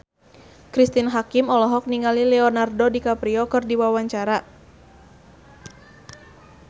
Cristine Hakim olohok ningali Leonardo DiCaprio keur diwawancara